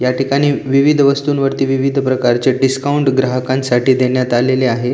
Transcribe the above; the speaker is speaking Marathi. या ठिकाणी विविध वस्तूंवरती विविध प्रकारचे डिस्काउंट ग्राहकांसाठी देण्यात आलेले आहे.